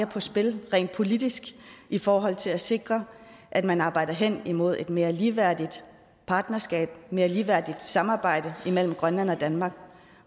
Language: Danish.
på spil rent politisk i forhold til at sikre at man arbejder hen imod et mere ligeværdigt partnerskab mere ligeværdigt samarbejde imellem grønland og danmark